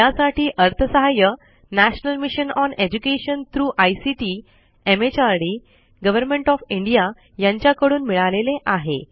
यासाठी अर्थसहाय्य national mission on education through ICT MHRD government of India कडून मिळालेले आहे